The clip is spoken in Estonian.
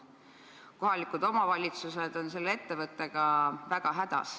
Kohalikud omavalitsused on selle ettevõttega väga hädas.